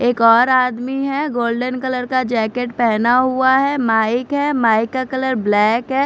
एक और आदमी है गोल्डन कलर का जैकेट पेहना हुआ है माइक है माइक का कलर ब्लैक है।